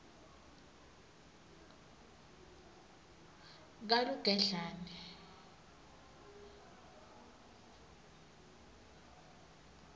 kalugedlane